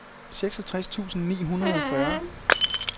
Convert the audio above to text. seksogtres tusind ni hundrede og fyrre